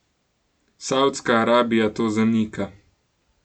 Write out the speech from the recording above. Savdska Arabija to zanika.